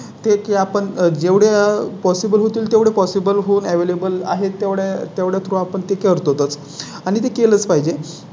ते की आपण जेवढे Possible होतील तेवढे Possible होऊन Available. आहेत एवढ्या तेवढ्या आपण ते करतोच आणि ते केलंच पाहिजे.